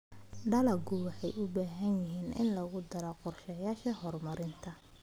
Dalagyadu waxay u baahan yihiin in lagu daro qorshayaasha horumarinta.